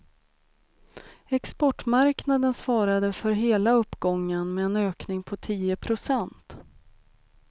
Exportmarknaden svarade för hela uppgången med en ökning på tio procent.